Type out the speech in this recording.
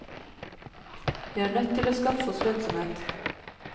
Vi er nødt til å skaffe oss lønnsomhet.